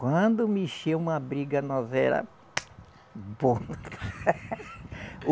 Quando mexeu uma briga, nós era bom.